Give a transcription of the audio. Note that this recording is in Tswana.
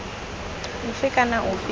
ofe kana ofe yo o